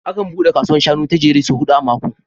Akan buɗe kasuwar shanun ta Jere sau huɗu a mako